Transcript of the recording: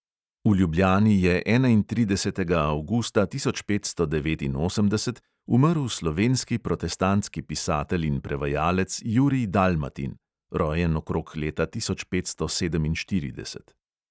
V ljubljani je enaintridesetega avgusta tisoč petsto devetinosemdeset umrl slovenski protestantski pisatelj in prevajalec jurij dalmatin (rojen okrog leta tisoč petsto sedeminštirideset).